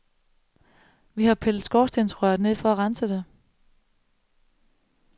Vi har pillet skorstensrøret ned for at rense det.